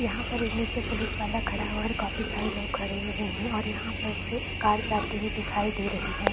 यहाँ पर एक नीचे पुलिस वाला खड़ा हुआ है और काफी सारे लोग खड़े हुए हैं और यहाँ पर से कार जाते हुए दिखाई दे रही है।